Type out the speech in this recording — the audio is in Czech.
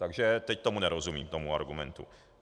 Takže teď tomu nerozumím, tomu argumentu.